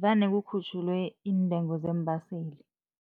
vane kukhutjhulwe iintengo zeembaseli.